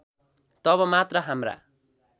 तब मात्र हाम्रा